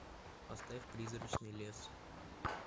поставь призрачный лес